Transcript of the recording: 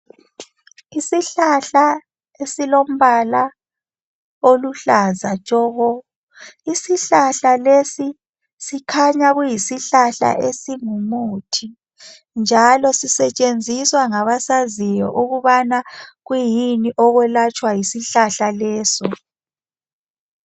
Isihlahla esilombala oluhlaza tshoko. Isihlahla lesi sikhanya kuyisihlahla esingumuthi njalo sisetshenziswa ngabasaziyo ukubana kuyini okwelatshwa yisihlahla lezo.